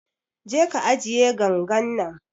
Je ka ajiye gangan nan